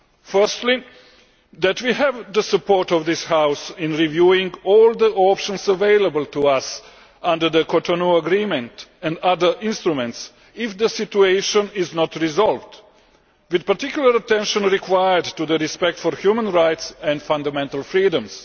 Firstly, that we have the support of this House in reviewing all the options available to us under the Cotonou Agreement and other instruments if the situation is not resolved, with particular attention required to the respect for human rights and fundamental freedoms.